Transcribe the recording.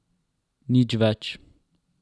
Nič več.